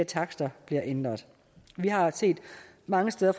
takster bliver ændret mange steder